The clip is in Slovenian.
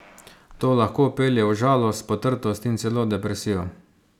To lahko pelje v žalost, potrtost in celo depresijo.